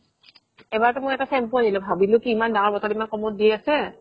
এবাৰটো মই এটা shampoo আনিলো ভাবিলো কি ইমান ডাঙৰ bottle ইমান ক'মত দি আছে